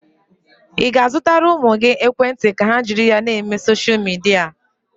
Ị ga-azụtara ụmụ gị ekwentị ka ha jiri na-eme soshal midia?